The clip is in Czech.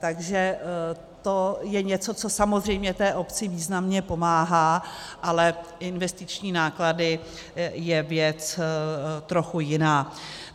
Takže to je něco, co samozřejmě té obci významně pomáhá, ale investiční náklady je věc trochu jiná.